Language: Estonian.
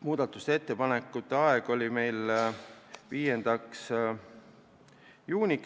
Muudatusettepanekute tähtaeg oli 5. juuni,